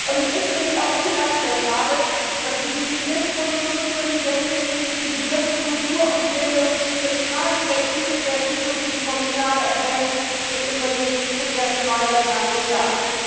Es ist für mich auch inakzeptabel, dass die designierte Kommissionspräsidentin die Begriffe Kultur und Bildung in keinem der Titel der zukünftigen Kommissare erwähnt im Übrigen zum ersten Mal seit 20 Jahren.